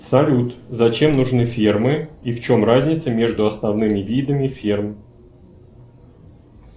салют зачем нужны фермы и в чем разница между основными видами ферм